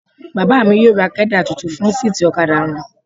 Bàbá mi yóò ra kẹ́dà tuntun fún síìtì ọ̀kadà wọn.